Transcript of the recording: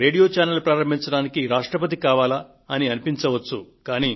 ఒక radio channel ను ప్రారంభించడానికి రాష్ట్రపతి కావాలా అని అనిపించవచ్చు